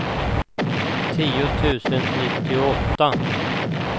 tio tusen nittioåtta